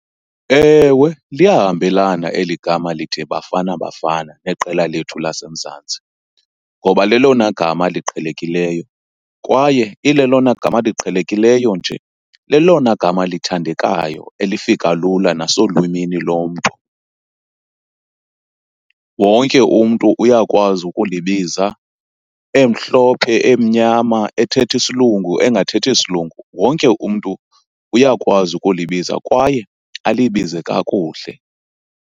Ewe, liyahambelana eli gama lithi Bafana Bafana neqela lethu laseMzantsi. Ngoba lelona gama liqhelekileyo kwaye ilelona gama liqhelekileyo nje, lelona gama lithandekayo elifika lula nasolwimini lomntu. Wonke umntu uyakwazi ukulibiza, emhlophe emnyama ethetha isilungu engathethi isilungu, wonke umntu uyakwazi ukulibiza kwaye alibize kakuhle.